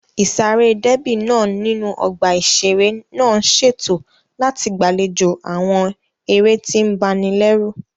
Ìsaré déébì náà nínú ọgbà ìṣeré náà ń ṣètò láti gbàlejò àwọn eré tí ń ba ni lẹ́rù